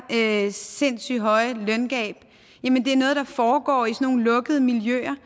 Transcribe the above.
der sindssyg høje løngab er noget der foregår i nogle lukkede miljøer